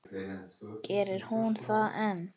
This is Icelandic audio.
Gerir hún það enn?